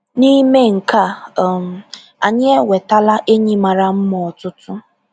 N’ime nke a, um anyị enwetala enyi mara mma ọtụtụ.